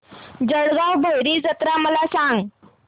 जळगाव भैरी जत्रा मला सांग